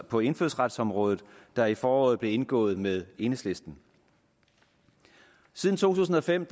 på indfødsretsområdet der i foråret blev indgået med enhedslisten siden to tusind og fem